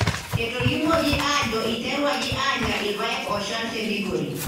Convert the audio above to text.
Etolimuoki aajo eiterwaki aanya irpaek ooshal te Migori.